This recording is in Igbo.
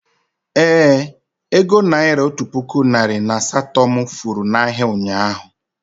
Ee, ego naira otu puku narị na asaa to mụ furu na ahịa, ụnyaahụ